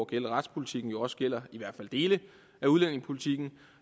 gælde retspolitikken jo også gælder i hvert fald dele af udlændingepolitikken